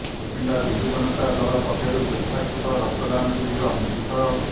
ସୁକିନ୍ଦା ବିଜୁ ଜନତା ଦଳ ପକ୍ଷରୁ ସ୍ବେଚ୍ଛାକୃତ ରକ୍ତଦାନ ଶିବିର ଅନୁଷ୍ଠିତ